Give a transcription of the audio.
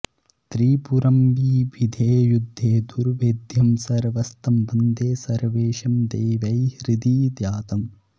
त्रिपुरं बिभिदे युद्धे दुर्भेद्यं सर्वैस्तं वन्दे सर्वेशं देवैर्हृदि ध्यातम्